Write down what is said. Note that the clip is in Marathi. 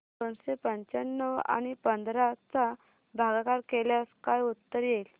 दोनशे पंच्याण्णव आणि पंधरा चा भागाकार केल्यास काय उत्तर येईल